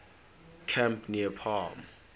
camp near palm